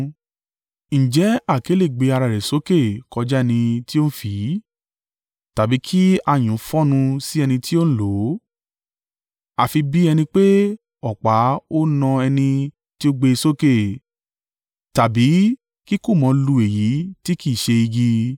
Ǹjẹ́ àáké le gbé ara rẹ̀ sókè kọjá ẹni tí ó ń fì í, tàbí kí ayùn fọ́nnu sí ẹni tí ó ń lò ó? Àfi bí ẹni pé ọ̀pá ó na ẹni tí ó gbé e sókè, tàbí kí kùmọ̀ lu èyí tí kì í ṣe igi.